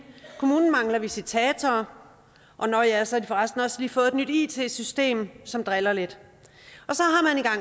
kommunen mangler visitatorer og nå ja så har de for resten også lige fået et nyt it system som driller lidt